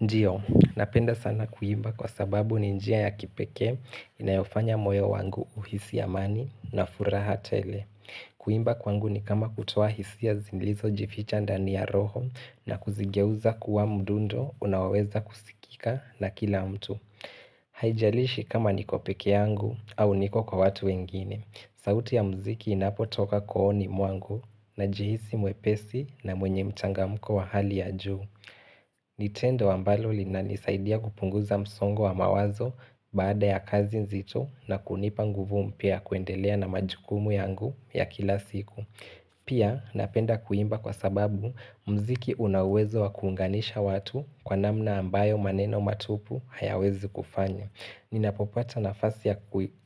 Ndio, napenda sana kuimba kwa sababu ni njia ya kipekee inayofanya moyo wangu uhisi amani na furaha tele. Kuimba kwangu ni kama kutoa hisia zilizo jificha ndani ya roho na kuzigeuza kuwa mdundo unaoweza kusikika na kila mtu. Haijalishi kama niko pekee yangu au niko kwa watu wengine. Sauti ya mziki inapotoka kooni mwangu najihisi mwepesi na mwenye mchangamko wa hali ya juu. Ni tendo ambalo linanisaidia kupunguza msongo wa mawazo baada ya kazi nzito na kunipa nguvu mpya kuendelea na majukumu yangu ya kila siku. Pia napenda kuimba kwa sababu mziki una uwezo wa kuunganisha watu kwa namna ambayo maneno matupu hayawezi kufanya. Ninapopata nafasi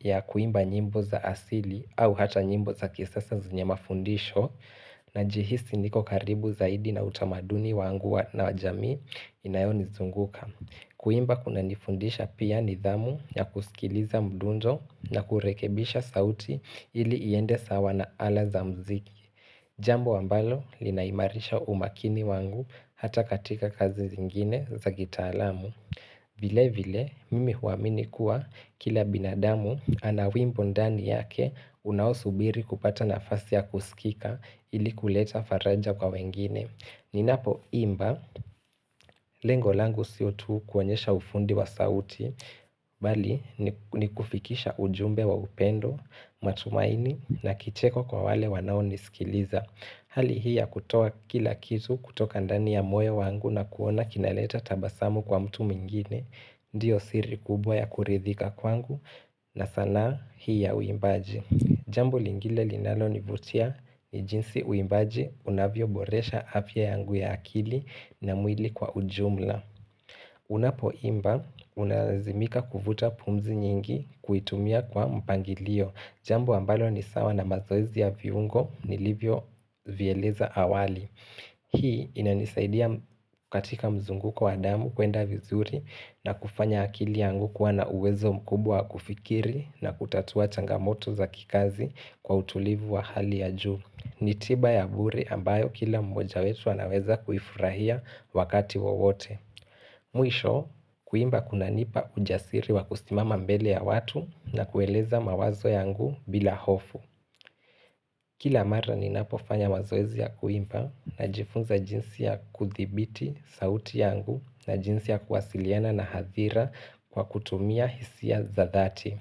ya kuimba nyimbo za asili au hata nyimbo za kisasa zenye mafundisho Najihisi niko karibu zaidi na utamaduni wangu wa na jamii inayonizunguka Kuimba kuna nifundisha pia nidhamu ya kusikiliza mdundo na kurekebisha sauti ili iende sawa na ala za mziki Jambo ambalo linaimarisha umakini wangu hata katika kazi zingine za kitaalamu vile vile, mimi huamini kuwa kila binadamu ana wimbo ndani yake unaosubiri kupata nafasi ya kusikika ili kuleta faraja kwa wengine. Ninapoimba, lengolangu sio tu kuonyesha ufundi wa sauti, bali ni kufikisha ujumbe wa upendo, matumaini na kicheko kwa wale wanao nisikiliza. Hali hii ya kutoa kila kitu kutoka ndani ya moyo wangu na kuona kinaleta tabasamu kwa mtu mwingine, ndio siri kubwa ya kuridhika kwangu na sanaa hii ya uimbaji. Jambo lingine linalonivutia ni jinsi uimbaji unavyoboresha afya yangu ya akili na mwili kwa ujumla. Unapoimba unalazimika kuvuta pumzi nyingi kuitumia kwa mpangilio Jamba ambalo nisawa na mazoezi ya viungo nilivyo vieleza awali Hii inanisaidia katika mzunguko wa damu kuenda vizuri na kufanya akili yangu kuwa na uwezo mkubwa kufikiri na kutatua changamoto za kikazi kwa utulivu wa hali ya juu ni tiba ya bure ambayo kila mmoja wetu anaweza kuifurahia wakati wowote Mwisho kuimba kuna nipa ujasiri wa kusimama mbele ya watu na kueleza mawazo yangu bila hofu Kila mara ninapofanya mazoezi ya kuimba najifunza jinsi ya kuthibiti sauti yangu na jinsi ya kuwasiliana na hadhira kwa kutumia hisia za dhati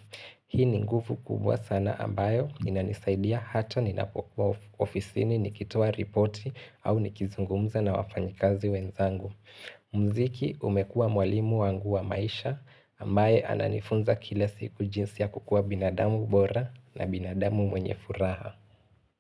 Hii ni nguvu kubwa sana ambayo inanisaidia hata ninapokuwa ofisini nikitoa ripoti au nikizungumza na wafanyikazi wenzangu mziki umekua mwalimu wangu wa maisha ambaye ananifunza kila siku jinsi ya kukua binadamu bora na binadamu mwenye furaha.